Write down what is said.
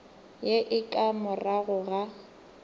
ye e ka morago ga